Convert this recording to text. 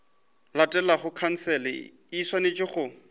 latelago khansele e swanetše go